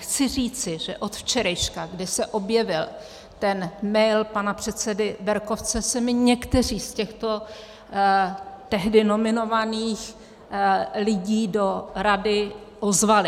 Chci říci, že od včerejška, kdy se objevil ten mail pana předsedy Berkovce, se mi někteří z těchto tehdy nominovaných lidí do rady ozvali.